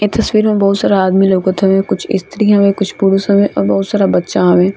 इस तस्वीर में बहुत सारा आदमी लउकत हवे | कुछ स्त्रियों होवे कुछ पुरुष होवे और बहुत सारा बच्चा हवे |